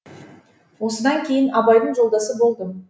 осыдан кейін абайдың жолдасы болдым